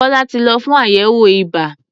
Kọ́lá ti lọ fún àyẹ̀wò ibà.